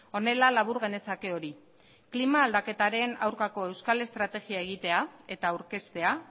honela labur genezake hori klima aldaketaren aurkako euskal estrategia egitea eta aurkeztea